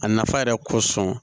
A nafa yɛrɛ kosɔn